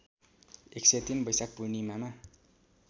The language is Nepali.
१०३ वैशाख पूर्णिमामा